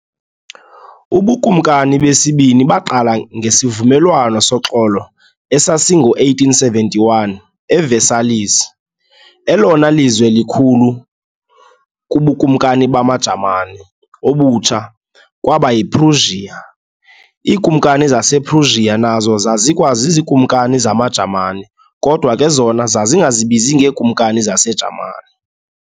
UbuKumkani besibini baqala ngesivumelwano soxolo esasingo-1871 e-Versailles. elona lizwe likhulu kubuKumkani bamaJamani obutsha kwaba yi-Prussia. IiKumkani zasePrussia nazo zazikwaz"iziKumkani zamaJamani", kodwa ke zona zazingazibizi ngee"Kumkani zas"eJamani".